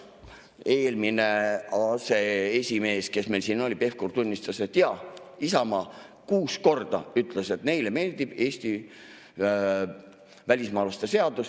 Eelmine aseesimees, kes meil siin oli, Pevkur, tunnistas, et jaa, Isamaa kuus korda ütles, et neile meeldib Eesti välismaalaste seadus.